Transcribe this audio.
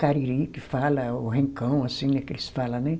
Cariri, que fala, ou rincão, assim, que eles fala, né?